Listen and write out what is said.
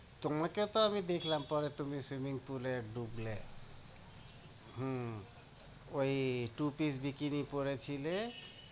তোমাকে তো আমি দেখলাম তুমি পরে swimming pool এ ডুবল, হুম ওই টুপির bikini পড়েছিলে।